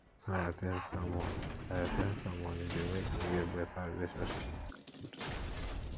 when i at ten d sermon i at ten d sermon e dey make me get better relationship with god